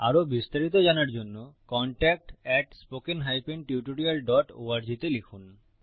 আরো বিস্তারিত জানার জন্য contact at spoken hyphen tutorial dot org তে লিখুন